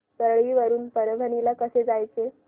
परळी वरून परभणी ला कसं जायचं